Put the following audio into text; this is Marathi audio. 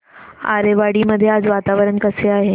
आरेवाडी मध्ये आज वातावरण कसे आहे